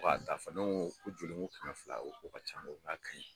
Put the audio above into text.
K'a t'a fɛ ne ko ko joli n ko kɛmɛ fila a ko k'o ka ca n k'a ka ɲi.